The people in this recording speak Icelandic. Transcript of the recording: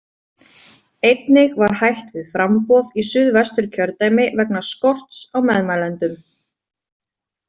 Einnig var hætt við framboð í Suðvesturkjördæmi vegna skorts á meðmælendum.